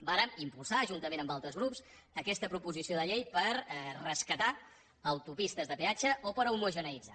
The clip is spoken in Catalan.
vàrem impulsar juntament amb altres grups aquesta proposició de llei per rescatar autopistes de peatge o per homogeneïtzar